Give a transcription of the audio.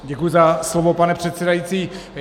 Děkuji za slovo, pane předsedající.